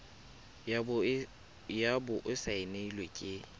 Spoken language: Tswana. ya bo e saenilwe ke